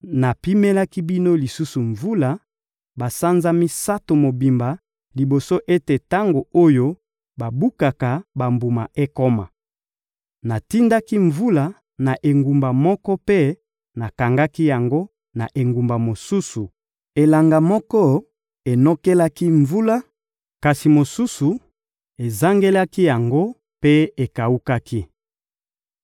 «Napimelaki bino lisusu mvula, basanza misato mobimba liboso ete tango oyo babukaka bambuma ekoma. Natindaki mvula na engumba moko mpe nakangaki yango na engumba mosusu. Elanga moko enokelaki mvula, kasi mosusu ezangelaki yango mpe ekawukaki.